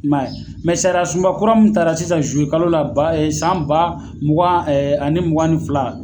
I ma ye a, sariya sunba kura min ta la sisan zuluye kalo la ba san ba mugan ani mugan ni fila.